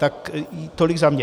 Tak tolik za mě.